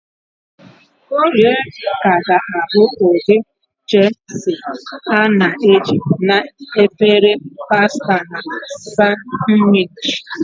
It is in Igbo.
Corrie ka ga-abụ ụdị cheese a na-eji na efere pasta na sanwichi.